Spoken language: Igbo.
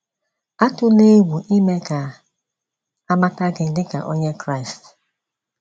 Atụla egwu ime ka a mata gị dị ka Onye Kraịst